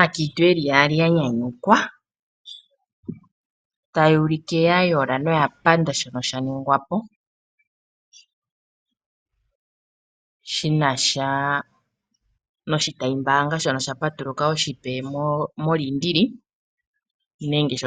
Aakiintu yeli yaali ya nyanyukwa .taya ulike yayola noya panda oshinongwapo shinasha noshitayi mbaanga shono sha patuluka oshipe moliindili nenge sho